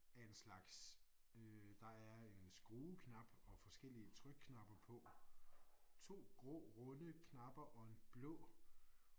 Af en slags øh der er en skrueknap og forskellige trykknapper på. 2 grå runde knapper og en blå